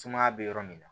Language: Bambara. Sumaya bɛ yɔrɔ min na